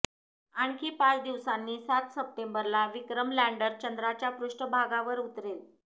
आणखी पाच दिवसांनी सात सप्टेंबरला विक्रम लँडर चंद्राच्या पृष्ठभागावर उतरेल